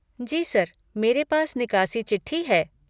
जी sir, मेरे पास निकासी चिट्ठी है।